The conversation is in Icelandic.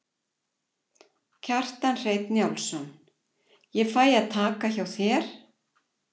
Kjartan Hreinn Njálsson: Ég fæ að taka hjá þér?